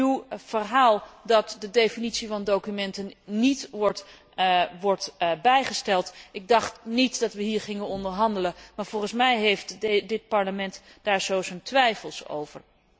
U zegt dat de definitie van documenten niet wordt bijgesteld, maar ik dacht niet dat we hier gingen onderhandelen. Maar volgens mij heeft dit Parlement daar zo zijn twijfels over.